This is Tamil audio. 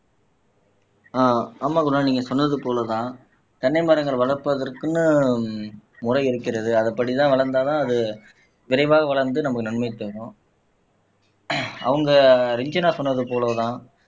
ஆஹ் ஆமா குணால் நீங்க சொன்னது போலதான் தென்னை மரங்கள் வளர்ப்பதற்குன்னு முறை இருக்கிறது அதுபடிதான் வளர்ந்தால்தான் அது விரைவாக வளர்ந்து நமக்கு நன்மையைத் தரும் அவங்க ரஞ்சனா சொன்னது போலதான்